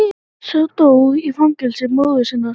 Sá dó í fangi móður sinnar.